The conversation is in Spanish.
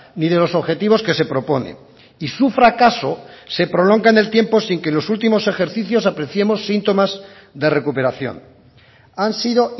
ni de los objetivos que se propone y su fracaso se prolonga en el tiempo sin que en los últimos ejercicios apreciemos síntomas de recuperación han sido